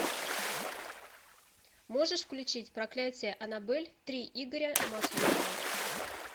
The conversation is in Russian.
можешь включить проклятие аннабель три игоря масленникова